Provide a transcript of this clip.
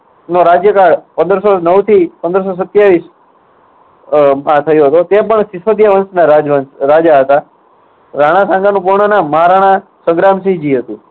નો રાજ્યકાળ પંદર સો નવથી પંદર સો સત્યાવીસ ઉહ માં થયો હતો. તે પણ સીસોદીયા વંશના રાજવંશ રાજા હતા. રાણા સાંધાનું પૂર્ણ નામ મહારાણા સંગ્રામ સિંહ જી હતું.